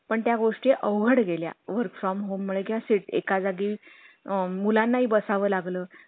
करून टाका तेवढं